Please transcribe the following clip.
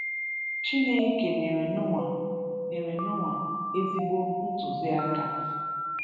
Chineke nyere Noah nyere Noah ezigbo ntụzi aka.